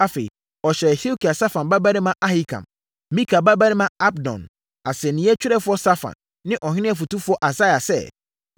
Afei, ɔhyɛɛ Hilkia, Safan babarima Ahikam, Mika babarima Abdon, asɛnnie twerɛfoɔ Safan ne ɔhene ɔfotufoɔ Asaia sɛ,